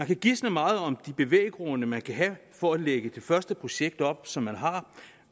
kan gisnes meget om de bevæggrunde man kan have for at lægge det første projekt op som man har